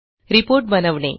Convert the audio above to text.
report बनवणे